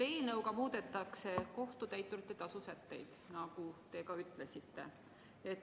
Eelnõuga muudetakse kohtutäituri tasu sätteid, nagu te ka ütlesite.